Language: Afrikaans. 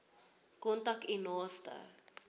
kontak u naaste